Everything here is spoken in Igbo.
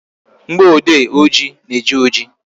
Mgboode oji na-eji oji